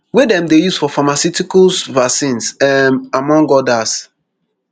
wey dem dey use for pharmaceuticals vaccines um among odas